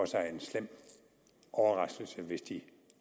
sig en slem overraskelse hvis de